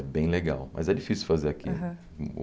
É bem legal, mas é difícil fazer aqui. Aham